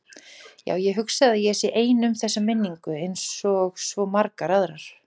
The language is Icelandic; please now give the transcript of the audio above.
Já, ég hugsa að ég sé ein um þessa minningu einsog svo margar aðrar.